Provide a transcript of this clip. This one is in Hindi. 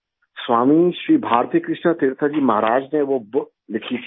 स्वामी श्री भारतीकृष्णा तीर्थ जी महाराज ने वो बुक लिखी थी